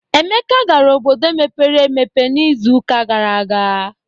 Emeka gara obodo mepere emepe n'izuụka gara aga.